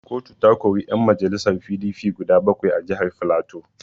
Kotu ta kori yan majalisar PDP guda bakwai a jihar Filato.